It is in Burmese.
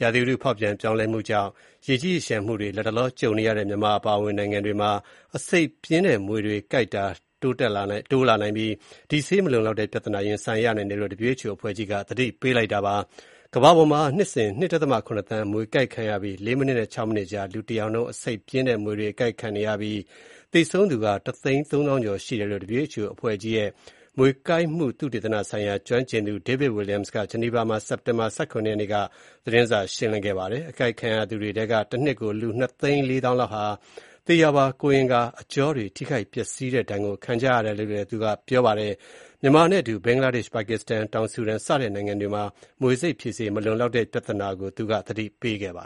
ရာသီဥတု ဖေါက်ပြန်ပြောင်းလဲမှုတွေကြောင့် ရေကြီးရေလျှံမှုတွေ လတ်တလော ကြုံနေရတဲ့ မြန်မာနိုင်ငံအပါအဝင် နိုင်ငံတွေမှာ အဆိပ်ပြင်းတဲ့ မြွေကိုက်တာတွေ တိုးလာနိုင်ပြီး မြွေဆိပ်ဖြေဆေး မလုံလောက်တဲ့ ပြဿနာ ရင်ဆိုင်ရနိုင်တာကို WHO ကမ္ဘာ့ကျန်းမာရေး အဖွဲ့ကြီးက သတိပေးထားပါတယ်။ ကမ္ဘာပေါ်မှာ နှစ်စဉ် လူ ၂.၇ သန်း မြွေကိုက်ခံရပြီး ၄ မိနစ်နဲ့ ၆ မိနစ်ကြား လူတယောက်နှုန်း အဆိပ်ပြင်းတဲ့ မြွေတွေ အကိုက်ခံနေရတဲ့အကြောင်း၊ သေဆုံးသူ အရေအတွက် တသိန်းသုံးသောင်းကျော် ရှိတဲ့အကြောင်း WHO အဖွဲ့ကြီးရဲ့ မြွေကိုက်မှု သုတေသနဆိုင်ရာ ကျွမ်းကျင်သူ David Williams က ဆွစ်ဇာလန်နိုင်ငံ ဂျနီဗာမှာ စက်တင်ဘာ ၁၇ ရက်နေ့ကကျင်းပတဲ့ သတင်းစာရှင်းလင်းပွဲမှာ ပြောဆိုပါတယ်။ အကိုက်ခံရသူတွေထဲက တနှစ်ကို လူ နှစ်သိန်း လေးသောင်းလောက်ဟာ သေရာပါ ကိုယ်အင်္ဂါ အကြောတွေ ထိခိုက်ပျက်စီးတဲ့ ဒဏ်ကို ခံကြရတယ်လို့ ပြောပါတယ်။ မြန်မာနိုင်ငံနဲ့အတူ ဘင်္ဂလားဒေ့ရှ်၊ ပါကစ္စတန်၊ တောင်ဆူဒန် စတဲ့နိုင်ငံတွေမှာ မြွေဆိပ်ဖြေဆေး မလုံလောက်တဲ့ ပြဿနာကို သူက သတိပေးတာပါ